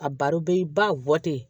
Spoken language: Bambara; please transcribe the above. A baro bɛ ba ten